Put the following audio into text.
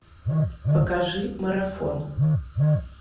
покажи марафон